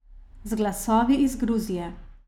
Z glasovi iz Gruzije.